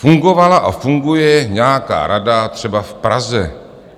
Fungovala a funguje nějaká rada třeba v Praze.